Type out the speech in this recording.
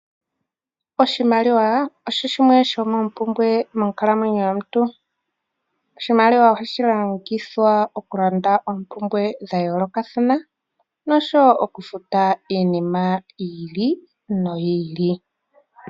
Oshimaliwa osho shimwe shomoompumbwe monkalamwenyo yomuntu. Oshimaliwa ohashi longithwa oku landa oompumbwe dha yoolokathana noshowo okufuta iinima yi ili noyi ili.